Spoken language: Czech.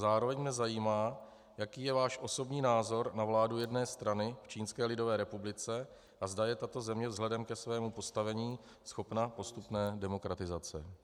Zároveň mě zajímá, jaký je váš osobní názor na vládu jedné strany v Čínské lidové republice a zda je tato země vzhledem ke svému postavení schopna postupné demokratizace.